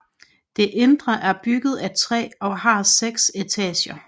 Det indre er bygget af træ og har seks etager